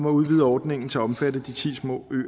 at udvide ordningen til at omfatte de ti små